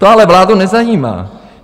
To ale vládu nezajímá.